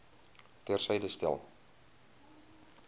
ter syde stel